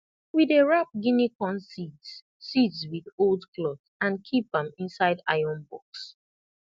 we dey wrap guinea corn seeds seeds with old cloth and keep am inside iron box